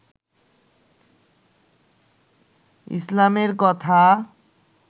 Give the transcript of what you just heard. ইসলামের কথা